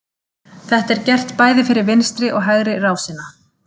Þetta er gert bæði fyrir vinstri og hægri rásina.